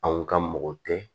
Anw ka mɔgɔ tɛ